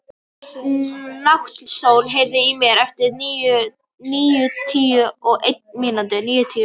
Náttsól, heyrðu í mér eftir níutíu og eina mínútur.